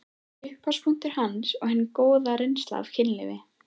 Upphafspunktur hans er hin góða reynsla af kynlífi.